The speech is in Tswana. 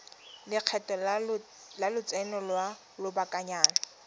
lekgetho la lotseno lwa lobakanyana